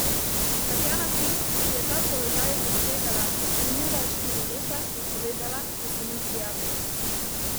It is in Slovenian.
Tatjana Fink, ki je ta položaj zasedala minula štiri leta, je povedala, da se ni prijavila.